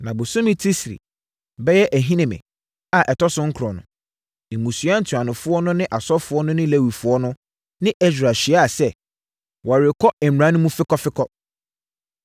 Na bosome Tisri (bɛyɛ Ahinime) a ɛtɔ so nkron no, mmusua ntuanofoɔ no ne asɔfoɔ no ne Lewifoɔ no ne Ɛsra hyiaeɛ sɛ, wɔrekɔ mmara no mu fekɔfekɔ.